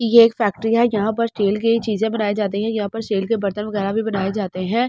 ये एक फैक्ट्री है यहाँ पर स्टील के चीज़े बनाई जाती है यहाँ पर सेल के बर्तन वगैरह भी बनाए जाते है ।